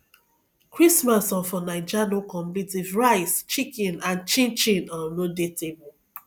christmas um for naija no complete if rice chicken and chinchin um no dey table